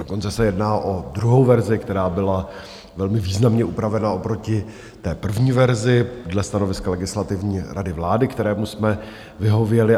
Dokonce se jedná o druhou verzi, která byla velmi významně upravena oproti té první verzi dle stanoviska Legislativní rady vlády, kterému jsme vyhověli.